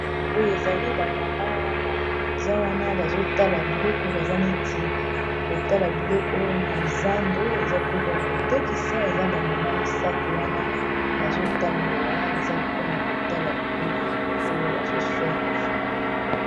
Boye ezali ba mama baza wana bazotala biloko baza neti kotala biloko na zando eza biloko ya kotekisa eza ba mama misato wana bazotambola eza mpona kotala biloko oyo bazosomba.